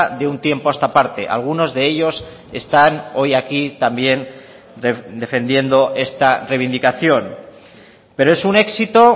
de un tiempo a esta parte algunos de ellos están hoy aquí también defendiendo esta reivindicación pero es un éxito